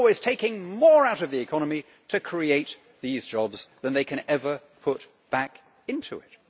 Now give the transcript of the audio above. You are always taking more out of the economy to create these jobs than they can ever put back into it.